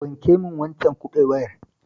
Wanke min waccan kabewar.